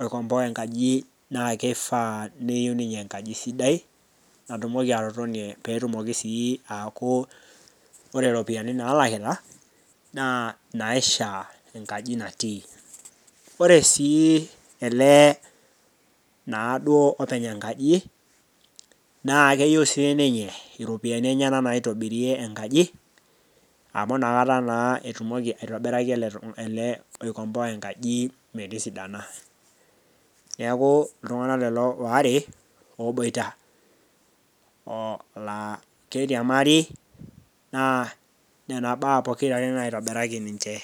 oikomboa enkaji naa keifaa neyou ninye enkaji sidai pee eyou ninye enkaji sidai, natumoki atotonie, pee etumoki sii aaku ore iropiani naalakita, naa inaishaa enkaji natii. Ore sii naaduo ele olopeny enkaji, naa keyou siininye iropiani enyena naitobirie enkaji, amu ina kata naa etumoki aitobiraki ele loikomboa enkaji metisidana. Neaku iltung'ana lelo waare oboita naa oloiriamari, naa nena baa pokira are naitobiraki ninche.